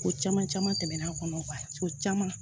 Ko caman caman tɛmɛn'an kɔnɔ so caman